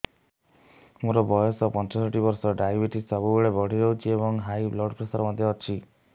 ମୋର ବୟସ ପଞ୍ଚଷଠି ବର୍ଷ ଡାଏବେଟିସ ସବୁବେଳେ ବଢି ରହୁଛି ଏବଂ ହାଇ ବ୍ଲଡ଼ ପ୍ରେସର ମଧ୍ୟ ଅଛି